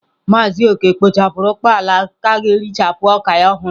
Maazị Okey kpochapuru ukpala ga-ericha oka ya ohuru.